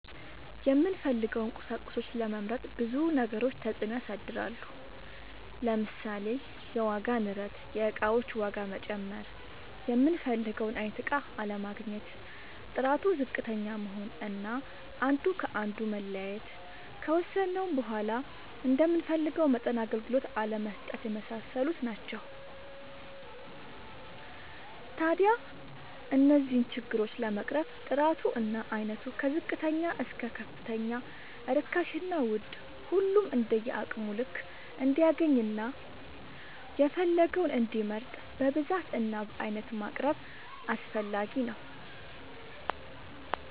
የምንፈልገውን ቁሳቁሶች ለመምረጥ ብዙ ነገሮች ተፅእኖ ያሳድራሉ። ለምሳሌ፦ የዋጋ ንረት(የእቃዎች ዋጋ መጨመር)፣ የምንፈልገውን አይነት እቃ አለማግኘት፣ ጥራቱ ዝቅተኛ መሆን አና አንዱ ከአንዱ መለያየት፣ ከወሰድነውም በዃላ እንደምንፈልገው መጠን አገልግሎት አለመስጠት የመሳሰሉት ናቸው። ታዲያ እነዚህን ችግሮች ለመቅረፍ ጥራቱ እና አይነቱ ከዝቅተኛ እስከ ከፍተኛ ርካሽና ውድ ሁሉም እንደየአቅሙ ልክ እንዲያገኝና የፈለገውን እንዲመርጥ በብዛት እና በአይነት ማቅረብ አስፈላጊ ነው።